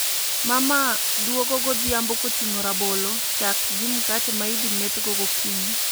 Mama dugo godhiambo koting'o rabolo, chak gi mkate ma idhi meth go gokinyi